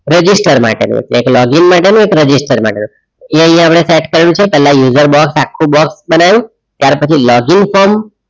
Register માટેનું એક login માટેનું register માટેનુ એ અહીંયા આપણે set કરેલુ છે પેલા user box આખુ box બનાવ્યું ત્યાર પછી login form